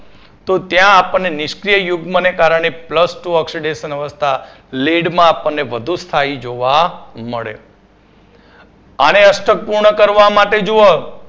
તો ત્યાં આપણને નિષ્ક્રિય યુગ્મને કારણે plus two oxidation અવસ્થા lead માં આપણને વધુ સ્થાયી જોવા મળે આને અષ્ટક પૂર્ણ કરવા માટે જુઓ